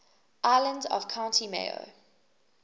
islands of county mayo